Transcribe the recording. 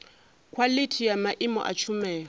khwalithi ya maimo a tshumelo